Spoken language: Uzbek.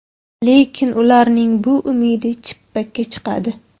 Lekin ularning bu umidi chippakka chiqadi.